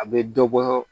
A bɛ dɔ bɔ